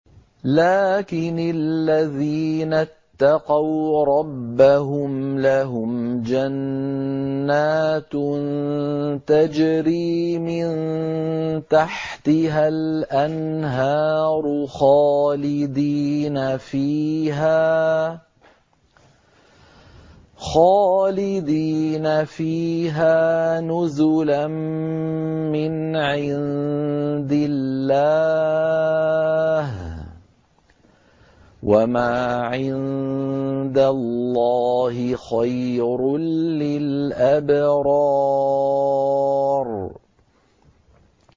لَٰكِنِ الَّذِينَ اتَّقَوْا رَبَّهُمْ لَهُمْ جَنَّاتٌ تَجْرِي مِن تَحْتِهَا الْأَنْهَارُ خَالِدِينَ فِيهَا نُزُلًا مِّنْ عِندِ اللَّهِ ۗ وَمَا عِندَ اللَّهِ خَيْرٌ لِّلْأَبْرَارِ